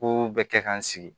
Ko bɛɛ kɛ ka n sigi